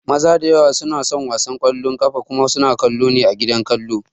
Maza da yawa suna son wasan ƙwallon ƙafa kuma suna kallo ne a gidan kallo